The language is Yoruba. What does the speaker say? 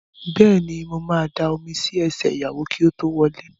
Bẹ́ẹ̀ni, mo ma da omi sí ẹsẹ̀ ìyàwó kí ó tó wọlé